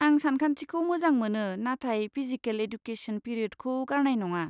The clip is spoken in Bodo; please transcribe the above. आं सानखान्थिखौ मोजां मोनो, नाथाय फिजिकेल एडुकेसन पिरियदखौ गारनाय नङा।